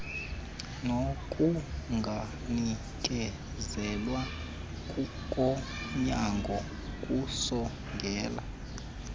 nokunganikezelwa konyango kusongela